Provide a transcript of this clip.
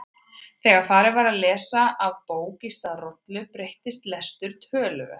Þegar farið var að lesa af bók í stað rollu breyttist lestur töluvert.